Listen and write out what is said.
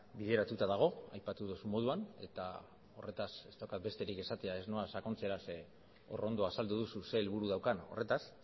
bideratuta dago aipatu duzun moduan eta horretaz ez daukat besterik esateko ez noa sakontzera zeren hor ondo azaldu duzu ze helburu daukan horretaz